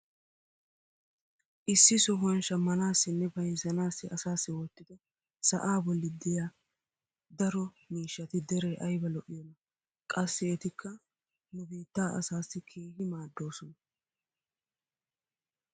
Issi sohuwan shamanaassinne bayzzanaassi asaassi wottido sa'aa bolli diya daro miishshati dere ayba al'iyoonaa! Qassi etikka nu biittaa asaassi keehi maaddoosona.